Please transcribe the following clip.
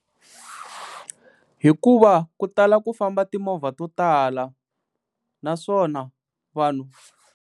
Hikuva ku tala ku famba timovha to tala naswona vanhu.